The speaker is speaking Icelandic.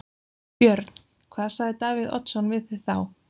Björn: Hvað sagði Davíð Oddsson við þig þá?